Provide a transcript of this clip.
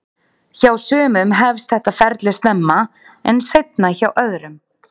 Hjá sumum hefst þetta ferli snemma en seinna hjá öðrum.